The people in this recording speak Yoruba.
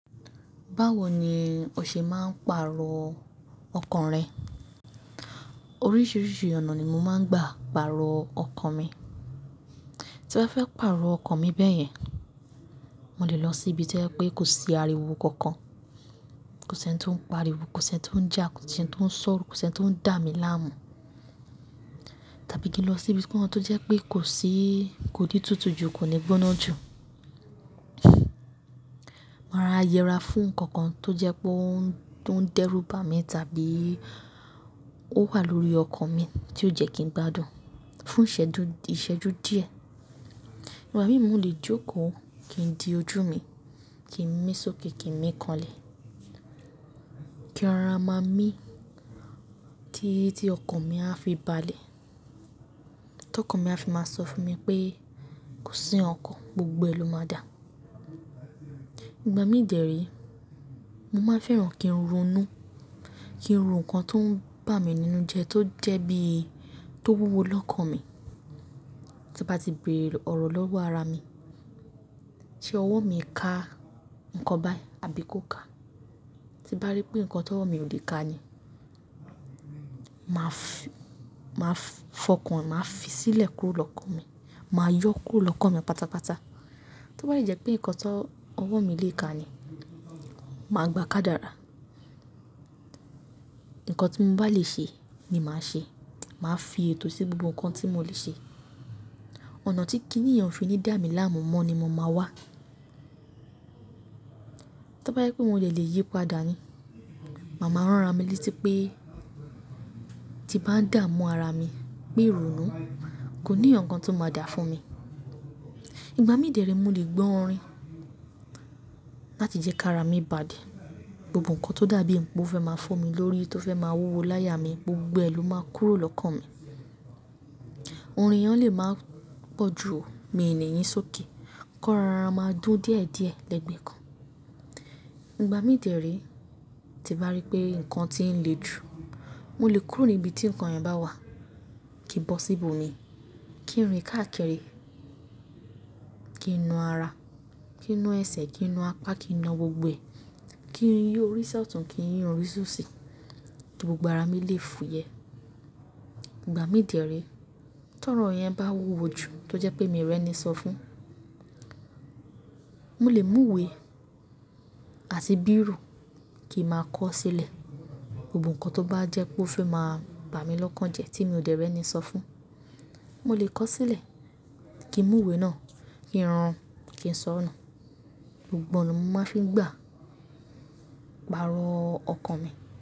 Báwo ni o ṣe máa ń pàrọ̀ ọkàn rẹ? Oríṣiríṣi ọ̀nà ni mo máa ń gbà pàrọ̀ ọkàn mi. Tí mo fẹ́ pàrọ̀ ọkàn mi bẹ́yẹn, mo lè lọ sí ibi to jẹ pé kò sí ariwo kankan. Kò sí ẹni tí ó ń pariwo, kò sí ẹni tí ó ń jà, kò sí ẹni tí ó ń sọ̀rọ̀, kò sí ẹni tí ó ń dà mí láàmú. Tàbí kí n lọ síbi kan tó jẹ́ pé kò sí-- kò ní tutù ju, kò ní gbóná ju. Máa rọra yẹra fún nǹkan kan tó jẹ́ pé ó ń, tó ń dẹ́rù bá mi tàbí ó wà lórí ọkàn mi tí ó jẹ́ kí n gbádùn fún ìṣẹ́jú díẹ̀. Ìgbà mí mo le jókòó kí n di ojú mi, kí ń mí sókè kí ń mí kanlẹ̀. Kín rọra máa mí tí, tí ọkàn mi a fi bà lẹ̀. Tí ọkàn mi a fi máa sọ fún mi pé kò sí nkàn kan, gbogbo ẹ lo máa dà. Ìgbà mí dẹ̀re, mo máa ń fẹ́ran kí n ronú, kí n ro nǹkan tó ń bà mí nínú jẹ tó jẹ́ bí, tó wúwo lọ́kàn mi. To mo bá ti bèrè ọ̀rọ̀ lọ́wọ́ ara mi, ṣe ọwọ́ mi ká nǹkan báyì àbí kò ká? Ti ń bá rí pé nǹkan ti ọwọ́ mi ò lè ká ni, màá f-- màá f-fọkàn, màá fi sílẹ̀ kúrò lọ́kàn mi, màá yọ kúrò lọ́kàn mi pátápátá. Tí ó bá dẹ jẹ pé nǹkan tó ọwọ́ mi lè ká ni, màá gbá ká dára. Nǹkan tí mo bá lè ṣe ni màá ṣe. Màá fi ètò sí gbogbo nǹkan tí mo lè ṣe. Ọ̀nà tí kínìyẹn fi ní dà mí láàmú mọ ni mo máa wá. Tí ó bá yẹ pé mo dẹ lè yípadà ni, màá ma rànra mi létí pé tí bá ń dà mú ara mi pé ronú, kò ní ọ̀ǹkan tó máa dà fún mi. Ìgbà mí dẹ̀rí mo lè gbọ́ orin láti jẹ́ ká ara mi bà dé. Gbogbo nǹkan tó dà bíi ń pe ó fẹ́ máa fọ́ mi lórí, tó fẹ́ máa wúwo láya mi, gbogbo ẹ ló máa kúrò lọ́kàn mi. Orin yẹn o lè máa pọ̀ jù o, mi ní yín sókè, ko rọra máa dún díẹ̀díẹ̀ lẹ́gbẹ̀ẹ́ kan. Ìgbà mí dẹ̀re tí bàá rí pé nǹkan ti ń le jù, mo lè kúrò ní ibi tí nǹkan yẹn bá wà. Ki bọ́ síbò mi, kí n rìn káàkiri, kí n nú ara, kí n nú ẹsẹ̀, kí n nú apá, kí n nú gbogbo ẹ̀, kí n yún orí sọ́tun kí n yún orí sóṣì. Gbogbo ara mi lè fúyẹ́. Ìgbà mí dẹ̀re tí ọ̀rọ̀ yẹn bá wúwo ju tó jẹ́ pé mi rẹ́ni sọ fún, mo lè mú ìwé àti bírò kí n máa kọ́ sílẹ̀. Gbogbo nǹkan tó bá jẹ́ pé ó fẹ́ máa bà mí lọ́kàn jẹ tí mi ò dẹ́rẹ́ni sọ fún, mo lè kọ sílẹ̀, kí n mú ìwé náà, kí n rùn, kí n sọ nu. Gbogbo ona mo máa fi ń gbà pàrọ̀ ọkàn mi.